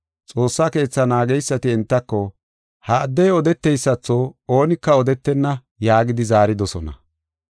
Xoossa Keetha naageysati entako, “Ha addey odeteysatho oonika odetenna” yaagidi zaaridosona.